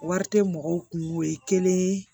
Wari tɛ mɔgɔw kun ye kelen ye